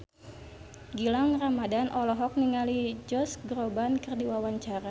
Gilang Ramadan olohok ningali Josh Groban keur diwawancara